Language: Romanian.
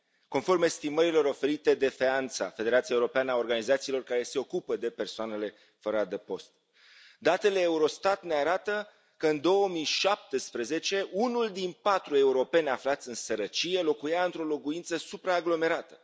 Conform estimărilor oferite de FEANTSA, Federația europeană a organizațiilor care lucrează cu persoanele fără adăpost, datele Eurostat ne arată că, în 2017, unul din patru europeni aflați în sărăcie locuia într o locuință supraaglomerată.